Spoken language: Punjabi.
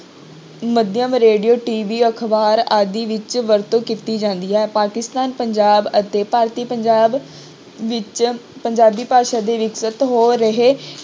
ਮਾਧਿਅਮ ਰੇਡੀਓ TV ਅਖ਼ਬਾਰ ਆਦਿ ਵਿੱਚ ਵਰਤੋਂ ਕੀਤੀ ਜਾਂਦੀ ਹੈ, ਪਾਕਿਸਤਾਨ ਪੰਜਾਬ ਅਤੇ ਭਾਰਤੀ ਪੰਜਾਬ ਵਿੱਚ ਪੰਜਾਬੀ ਭਾਸ਼ਾ ਦੇ ਹੋ ਰਹੇ